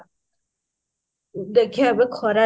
ଦେଖିବା ଏବେ ଖରା ରେ